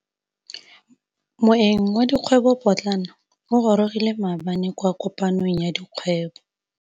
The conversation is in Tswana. Moêng wa dikgwêbô pôtlana o gorogile maabane kwa kopanong ya dikgwêbô.